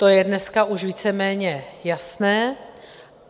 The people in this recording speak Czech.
To je dneska už víceméně jasné.